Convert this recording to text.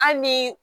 Hali ni